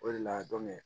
O de la